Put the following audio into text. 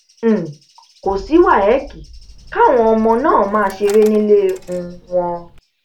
um kò sí wáyéèkì káwọn ọmọ máa ṣeré nílé um wọn